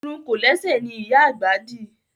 Irun kòlẹ́sẹ̀ ni ìyá àgbà dì